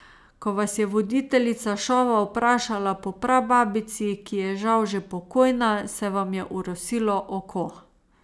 Ko vas je voditeljica šova vprašala po prababici, ki je žal že pokojna, se vam je orosilo oko.